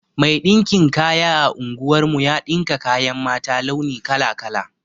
Mai ɗinkin kaya a unguwar mu ya ɗinka kayan mata launi kala-kala.